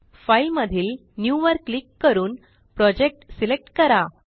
file मधील new वर click करून प्रोजेक्ट सिलेक्ट करा